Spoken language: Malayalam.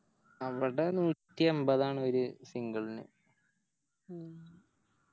അവിടെ നൂറ്റി എമ്പതാണ് ഒര് Single ന്